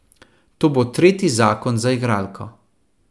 To bo tretji zakon za igralko.